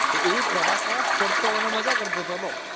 એ પ્રવાસમાં પડતો અને મજા કરતો હતો